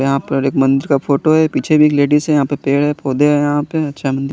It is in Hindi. यहाँं पर एक मंदिर का फोटो है पीछे भी लेडिस है यहाँं पे पेड़ है पौधे है यहाँं पे चेम --